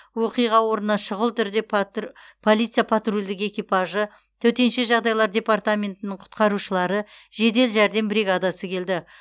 оқиға орнына шүғыл түрде патр полиция патрульдік экипажы төтенше жағдайлар департаментінің құтқарушылары жедел жәрдем бригадасы келді